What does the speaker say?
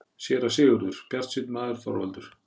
SÉRA SIGURÐUR: Bjartsýnn maður, Þorvaldur!